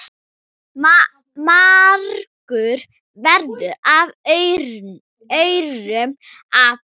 margur verður af aurum api.